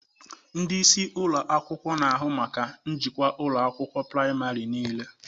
Ndị isi ụlọ akwụkwọ na-ahụ maka njikwa ụlọ akwụkwọ praịmarị niile.